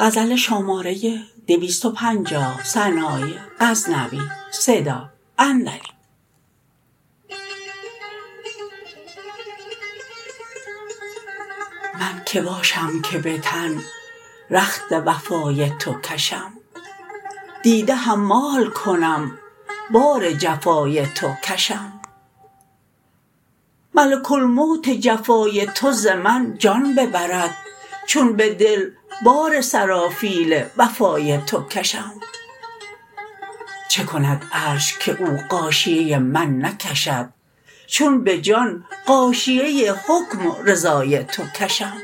من که باشم که به تن رخت وفای تو کشم دیده حمال کنم بار جفای تو کشم ملک الموت جفای تو ز من جان ببرد چون به دل بار سرافیل وفای تو کشم چه کند عرش که او غاشیه من نکشد چون به جان غاشیه حکم و رضای تو کشم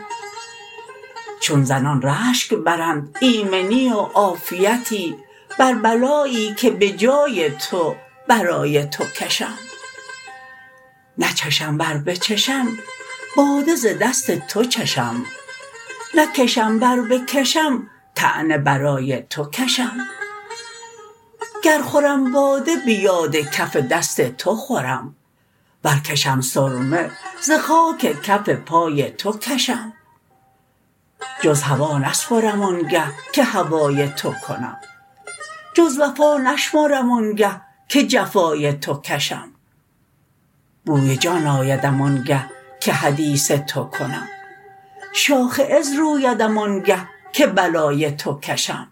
چون زنان رشک برند ایمنی و عافیتی بر بلایی که به جای تو برای تو کشم نچشم ور بچشم باده ز دست تو چشم نکشم ور بکشم طعنه برای تو کشم گر خورم باده به یاد کف دست تو خورم ور کشم سرمه ز خاک کف پای تو کشم جز هوا نسپرم آن گه که هوای تو کنم جز وفا نشمرم آن گه که جفای تو کشم بوی جان آیدم آن گه که حدیث تو کنم شاخ عز رویدم آن گه که بلای تو کشم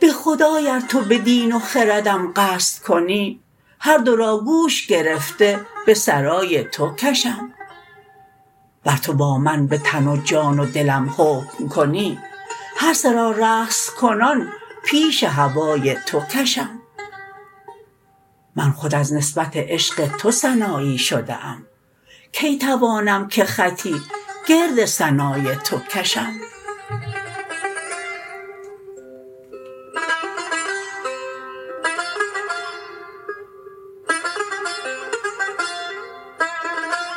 به خدای ار تو به دین و خردم قصد کنی هر دو را گوش گرفته به سرای تو کشم ور تو با من به تن و جان و دلم حکم کنی هر سه را رقص کنان پیش هوای تو کشم من خود از نسبت عشق تو سنایی شده ام کی توانم که خطی گرد ثنای تو کشم